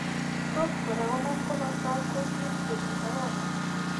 Tos' kora konam komostaap kuutiit, serut ak kony'ek.